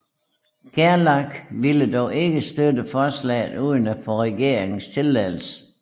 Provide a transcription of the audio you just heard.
Gerlach ville dog ikke støtte forslaget uden at få regeringens tilladelse